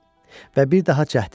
Və bir daha cəhd elədi.